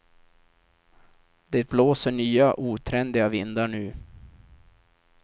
Det blåser nya otrendiga vindar nu.